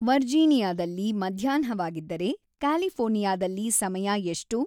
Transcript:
ವರ್ಜೀನಿಯಾದಲ್ಲಿ ಮಧ್ಯಾಹ್ನವಾಗಿದ್ದರೆ ಕ್ಯಾಲಿಫೋರ್ನಿಯಾದಲ್ಲಿ ಸಮಯ ಎಷ್ಟು?